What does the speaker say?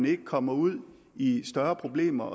ikke kommer ud i større problemer